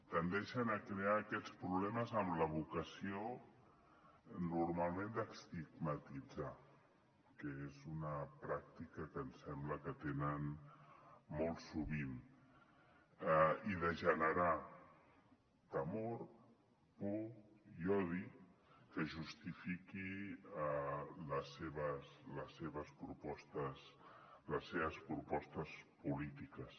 tendeixen a crear aquests problemes amb la vocació normalment d’estigmatitzar que és una pràctica que ens sembla que tenen molt sovint i de generar temor por i odi que justifiquin les seves propostes polítiques